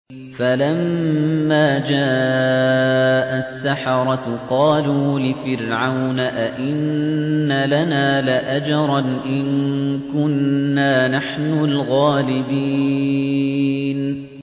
فَلَمَّا جَاءَ السَّحَرَةُ قَالُوا لِفِرْعَوْنَ أَئِنَّ لَنَا لَأَجْرًا إِن كُنَّا نَحْنُ الْغَالِبِينَ